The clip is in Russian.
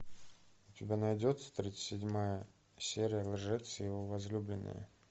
у тебя найдется тридцать седьмая серия лжец и его возлюбленная